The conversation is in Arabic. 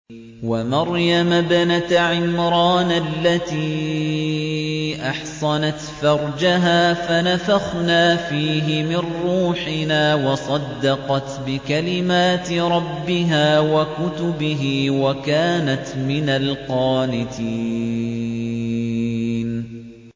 وَمَرْيَمَ ابْنَتَ عِمْرَانَ الَّتِي أَحْصَنَتْ فَرْجَهَا فَنَفَخْنَا فِيهِ مِن رُّوحِنَا وَصَدَّقَتْ بِكَلِمَاتِ رَبِّهَا وَكُتُبِهِ وَكَانَتْ مِنَ الْقَانِتِينَ